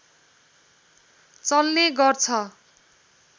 चल्ने गर्छ